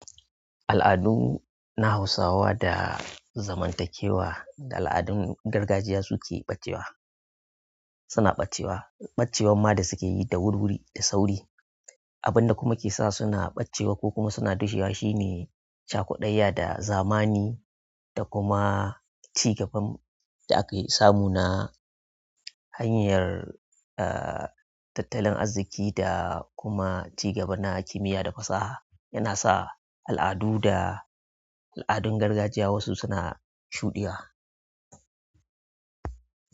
Al'adu na hausawa da zamantakewa da al'adun gargajiya su ke ɓacewa, suna ɓacewa. Ɓacewan ma da suke yi da wuri-wuri, da sauri. Abin da kuma ke sa suna ɓacewa ko kuma suna dushewa shine chaƙuɗayya da zamani da kuma ci gaban da akai samu na. Hanyar, a, tattalin arziki da kuma ci gaba na kimiya da fasaha yana sa al'adu da. Al'adun gargajiya wasu suna shuɗewa.